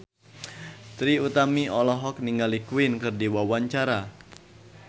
Trie Utami olohok ningali Queen keur diwawancara